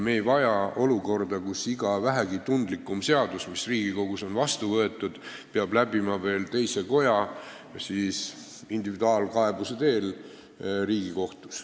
Me ei vaja olukorda, kus iga vähegi tundlikum seadus, mis Riigikogus on vastu võetud, peab läbima veel teise koja ja ehk ka individuaalkaebuse tõttu Riigikohtu.